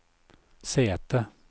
sete